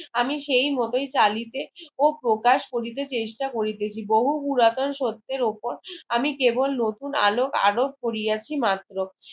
আমি সেই মতোই চালিতে ও প্রকাশ করিতে চেষ্টা করিতেছি বহু পুরাতন সত্যের ওপর আমি কেবল নতুন আলো আলোক করিয়াছি মাত্র